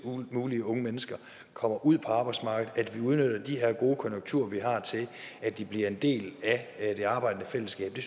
mulige unge mennesker kommer ud på arbejdsmarkedet at vi udnytter de her gode konjunkturer vi har til at de bliver en del af det arbejdende fællesskab det